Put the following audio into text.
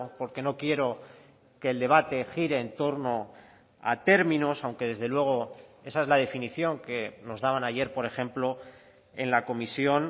porque no quiero que el debate gire en torno a términos aunque desde luego esa es la definición que nos daban ayer por ejemplo en la comisión